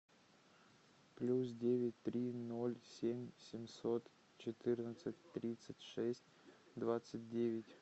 плюс девять три ноль семь семьсот четырнадцать тридцать шесть двадцать девять